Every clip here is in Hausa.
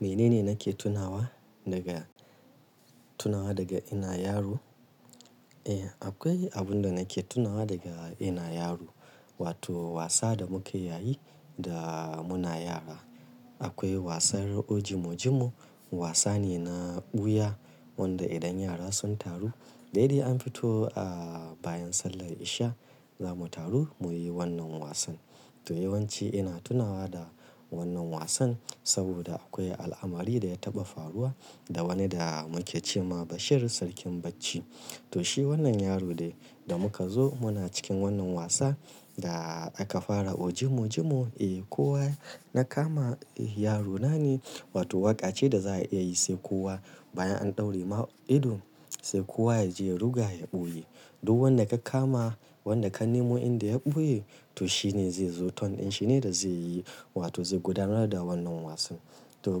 Mene ne nake tunawa naga, tunawa daga ina yaro? Eh, akwai abun da nake tunawa daga ina yaro. Wato wasa da muke yayi da muna yara. Akwai wasan ojimo jimo, wasa ne na ɓuya wanda idan yara sun taru, daidai an fito a bayan sallar isha zamu taru muyi wannan wasan. To yawanci ina tunawa da wannan wasan saboda akwai al'amari da ya taɓa faruwa da wani da muke ce ma Bashir sarkin bacci. To shi wannan yaro dai, da muka zo muna cikin wannan wasa da aka fara ojimo jimo. Eh, kowa na kama, eh yaro na ne wato waƙa ce da za a iya yi sai kowa bayan an ɗauri ma ido sai kowa ya je ya ruga ya ɓoye. Duk wanda ka kama, wanda ka nemo inda ya ɓoye to shine zai zo ton in shi ne da zai yi wato zai gudanar da wannan wasan. To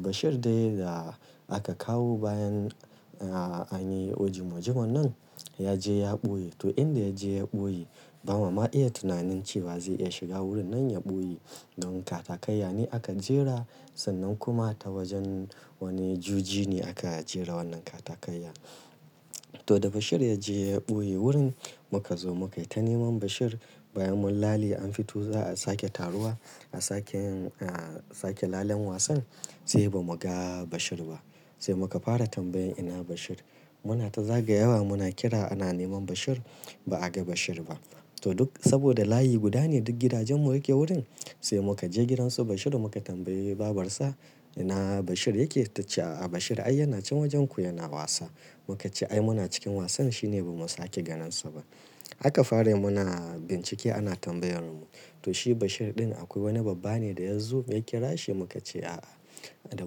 Bashir dai da aka kawo bayan a, an yi ojimo jimo nan ya je ya ɓoye. To inda ya je ya ɓoye, ba ma ma iya tunanin cewa zai iya shiga wurin nan ya ɓoye. Don katakayya ne aka jera sannan kuma ta wajen wani juji ne aka jera wannan katakayyan. To da Bashir ya je ya ɓoye wurin muka zo muka yi ta neman Bashir bayan mun lale an fito za a sake taruwa a sake yin, a sake lallen wasan sai ba mu ga Bashir ba. Sai muka fara tambayan ina Bashir. Muna ta zaga yawa muna kira ana neman Bashir ba a ga Bashir ba. To duk saboda layi guda ne duk gidajen mu yake wurin sai muka je gidansu Bashir muka tambayi babarsa, "ina Bashir yake?" Ta ce, "A'a Bashir ai yana can wajenku yana wasa." Mu ka ce, "Ai muna cikin wasan shi ne ba mu sake ganinsa ba." Aka fara yimuna bincike ana tambayarmu. To shi Bashir ɗin akwai wani babba ne da ya zo ya kira shi mu ka ce, "A'a." Da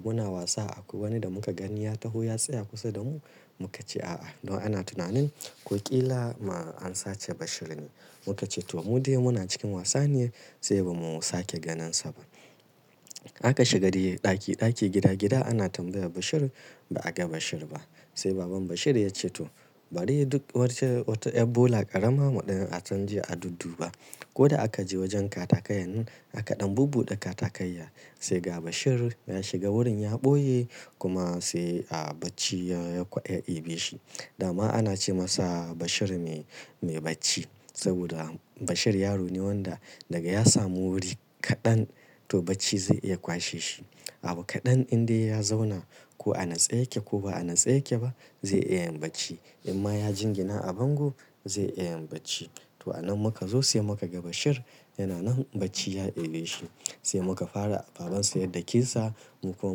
muna wasa akwai wani da muka gani ya taho ya tsaya kusa da mu mu ka ce, "A'a." To ana tunanin ko ƙila ma an sace Bashir ne. Mu ka ce to mu dai muna cikin wasa ne sai ba mu sake ganinsa ba. Aka shiga dai ɗaki ɗaki, gida gida ana tambaya Bashir ba a ga Bashir ba. Sai baban Bashir ya ce, "to bari duk wacce wata yar bola ƙarama a ɗan je a dudduba." Ko da aka je wajen katakayan nan aka ɗan bubbuɗe katakaya sai ga Bashir ya shiga wurin ya ɓoye kuma sai a bacci ya, ya, ya daɓe shi. Da ma ana ce masa Bashir mai, mai bacci saboda Bashir yaro ne wanda daga ya samu wuri kaɗan to bacci zai iya kwashe shi. Abu kaɗan indai ya zauna ko a tsaye yake ko ba a tsaye yake ba zai iya yin bacci. In ma ya jingina a bango zai iya yin bacci. To a nan muka zo sai muka ga Bashir yana nan bacci ya ɓe shi. Sai muka fara babansa ya dakesa mu kuma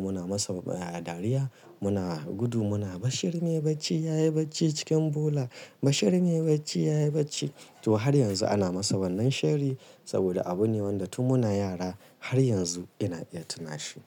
muna masa ɗariya muna gudu muna, "Bashir mai bacci ya yi bacci cikin bola. Bashir mai bacci ya yi bacci." To har yanzu ana masa wannan shari saboda abu ne wanda tun muna yara har yanzu ina iya tuna shi.